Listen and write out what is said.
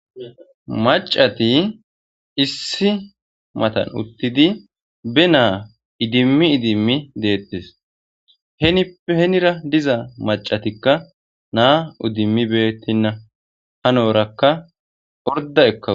Macati issi matan uttidi be ma idimi idim detes henipe henira diza macatika na idimi beytena hanoraka orda ekaws